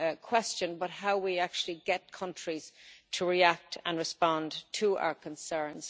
question, but how we actually get countries to react and respond to our concerns.